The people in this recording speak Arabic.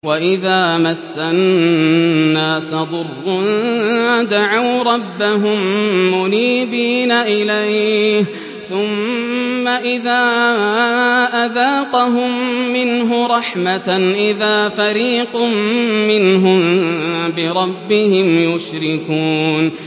وَإِذَا مَسَّ النَّاسَ ضُرٌّ دَعَوْا رَبَّهُم مُّنِيبِينَ إِلَيْهِ ثُمَّ إِذَا أَذَاقَهُم مِّنْهُ رَحْمَةً إِذَا فَرِيقٌ مِّنْهُم بِرَبِّهِمْ يُشْرِكُونَ